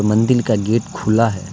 मंदिर का गेट खुला है।